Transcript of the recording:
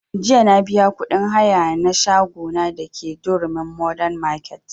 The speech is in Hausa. Jiya na biya kuɗin haya na shago na da ke durumi modern market